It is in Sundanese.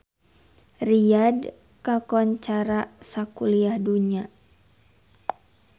Riyadh kakoncara sakuliah dunya